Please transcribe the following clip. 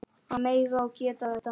Að mega og geta þetta.